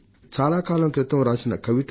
చాలా కాలం క్రితం రాసిన కవిత అది